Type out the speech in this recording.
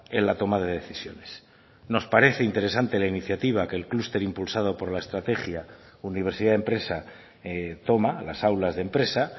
en la toma de decisiones nos parece interesante la iniciativa que el clúster impulsado por la estrategia universidad empresa toma las aulas de empresa